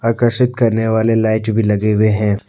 प्रकाशित करने वाले लाइट भी लगे हुए हैं।